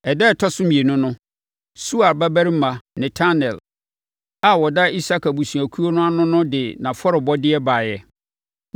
Ɛda a ɛtɔ so mmienu no, Suar babarima Netanel a ɔda Isakar abusuakuo ano no de nʼafɔrebɔdeɛ baeɛ.